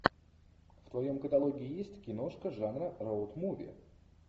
в твоем каталоге есть киношка жанра роуд муви